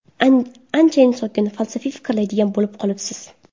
Anchayin sokin, falsafiy fikrlaydigan bo‘lib qolibsiz?